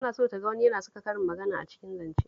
Tana so ta ga wani yana saka karin magana a cikin zancensa